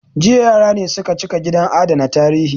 Jiya yara ne su ka cika gidan adana tarihi